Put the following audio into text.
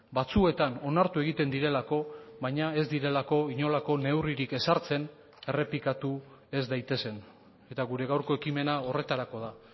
batzuetan onartu egiten direlako baina ez direlako inolako neurririk ezartzen errepikatu ez daitezen eta gure gaurko ekimena horretarako da